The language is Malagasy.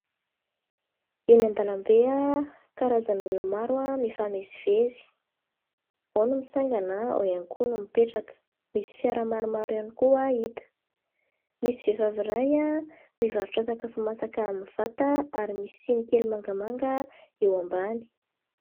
Eny an-dalambe, karazan'olona maro mifamezivezy. Ao ny mitsangana, ao ihany koa ny mipetraka. Misy fiara maromaro koa hita. Misy vehivavy iray mivarotra sakafo masaka amin'ny vata ary misy siny kely mangamanga eo ambany.